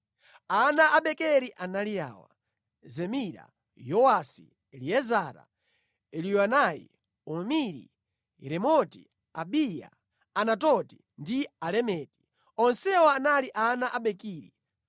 Ana a Bekeri anali awa: Zemira, Yowasi, Eliezara, Eliyoenai, Omiri, Yeremoti, Abiya, Anatoti ndi Alemeti. Onsewa anali ana a Bekeri.